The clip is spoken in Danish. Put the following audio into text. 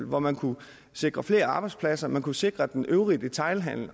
hvor man kunne sikre flere arbejdspladser man kunne sikre den øvrige detailhandel